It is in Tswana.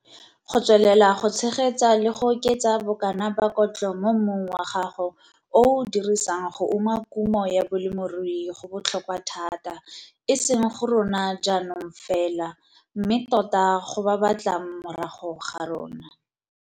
Go tswelela go tshegetsa le go oketsa bokana ba kotlo mo mmung wa gago o o o dirisang go uma kumo ya bolemirui go botlhokwa thata, e seng go rona jaanong fela, mme tota go ba ba tlang morago ga rona.